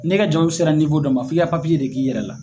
Ne ka jago bɛ sera dɔ ma fo i ka papiye de k'i yɛrɛ la